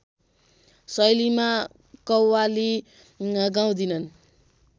शैलीमा कव्वाली गाउँदिनन्